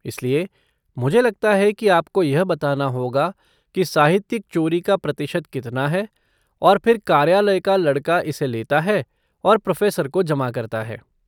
इसलिए, मुझे लगता है कि आपको यह बताना होगा कि साहित्यिक चोरी का प्रतिशत कितना है और फिर कार्यालय का लड़का इसे लेता है और प्रोफ़ेसर को जमा करता है।